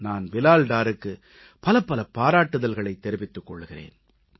நான் பிலால் டாருக்கு பலபல பாராட்டுதல்களைத் தெரிவித்துக் கொள்கிறேன்